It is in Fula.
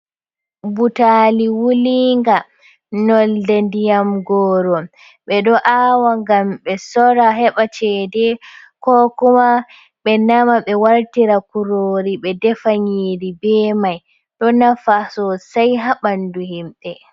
Butali wulinga nolde ndiyam goro ɓeɗo awa gam ɓe sora heɓa cede ko kuma be nama ɓe wartira kurori be defa nyiri be mai, ɗo nafa sosai ha ɓandu himɓɓe.